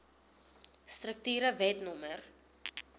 strukture wet no